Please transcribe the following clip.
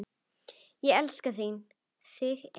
Ég elska þig, þín Eva.